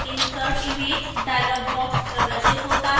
insert image dialog box प्रदर्शित होता है